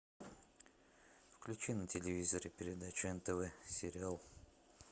включи на телевизоре передачу нтв сериал